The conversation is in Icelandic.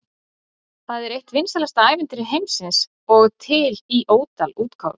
Það er eitt vinsælasta ævintýri heimsins og til í ótal útgáfum.